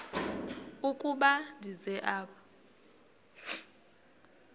ukuba ndize apha